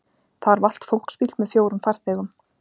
Þar valt fólksbíll með fjórum farþegum